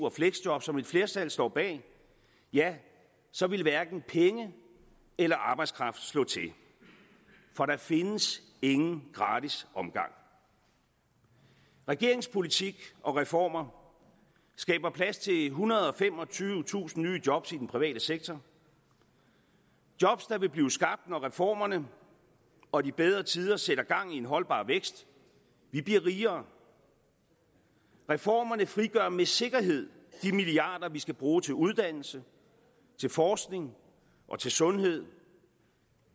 og fleksjob som et flertal står bag ja så vil hverken penge eller arbejdskraft slå til for der findes ingen gratis omgang regeringens politik og reformer skaber plads til ethundrede og femogtyvetusind nye job i den private sektor job der vil blive skabt når reformerne og de bedre tider sætter gang i en holdbar vækst vi bliver rigere reformerne frigør med sikkerhed de milliarder vi skal bruge til uddannelse til forskning og til sundhed